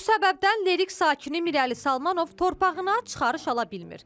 Bu səbəbdən Lerik sakini Mirəli Salmanov torpağına çıxarış ala bilmir.